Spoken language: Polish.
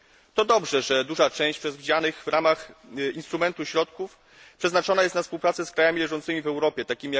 To dobrze, że duża część przewidzianych w ramach instrumentu środków przeznaczona jest na współpracę z krajami leżącymi w Europie, tj.